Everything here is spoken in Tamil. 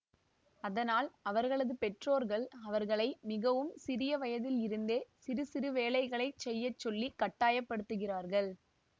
அதனால் அவர்களது பெற்றோர்கள் அவர்களை மிகவும் சிறிய வயதில் இருந்தே சிறு சிறு வேலைகளை செய்ய சொல்லி கட்டாயப்படுத்துகிறார்கள்